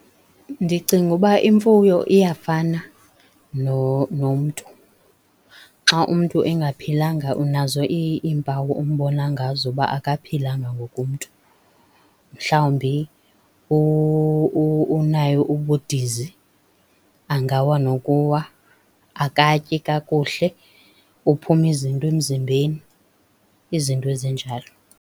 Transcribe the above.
Ndicinga uba imfuyo iyafana nomntu. Xa umntu engaphilanga unazo iimpawu ombona ngazo uba akaphilanga ngoku umntu. Mhlawumbi unayo ubudizi, angawa nokuwa. Akatyi kakuhle, uphuma izinto emzimbeni, izinto ezinjalo.